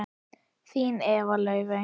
Þín Eva Laufey.